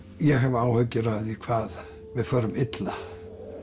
ég hef áhyggjur af því hvað við förum illa